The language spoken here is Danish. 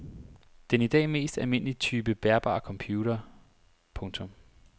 Den i dag mest almindelige type bærbare computer. punktum